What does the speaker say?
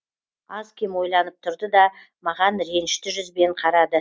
аз кем ойланып тұрды да маған ренішті жүзбен қарады